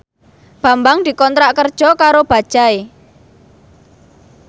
Bambang dikontrak kerja karo Bajaj